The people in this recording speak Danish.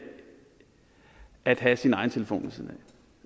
at have sin egen telefon